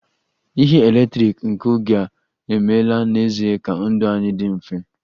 Ihe eletrik nke oge a emeela n'ezie ka ndụ anyị dị mfe